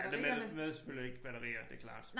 Men der med medfølger ikke batterier det klart